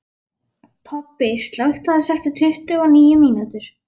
Tobbi, slökktu á þessu eftir tuttugu og níu mínútur.